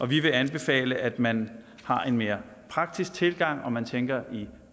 vi vil anbefale at man har en mere praktisk tilgang og at man tænker i